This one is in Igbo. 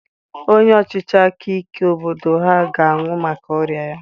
Onye ọchịchị aka ike obodo ha ga-anwụ maka ọrịa ya.